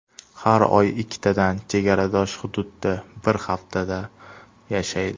Har oy ikkitadan chegaradosh hududda bir haftadan yashaydi.